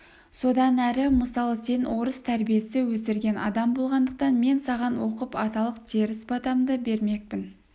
содан әрі мысалы сен орыс тәрбиесі өсірген адам болғандықтан мен саған оқып аталық теріс батамды бермекпін